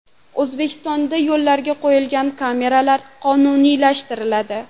O‘zbekistonda yo‘llarga qo‘yiladigan kameralar qonuniylashtiriladi.